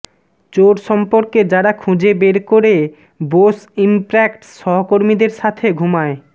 চোর সম্পর্কে যারা খুঁজে বের করে বোস ইমপ্র্যাক্টস সহকর্মীদের সাথে ঘুমায়